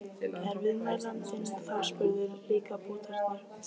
Er viðmælandinn þá spurður: Líka bútarnir?